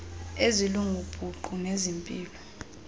ezelungu buqu nezempilo